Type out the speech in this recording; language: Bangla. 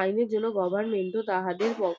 আইনের জন্য goverment তাদের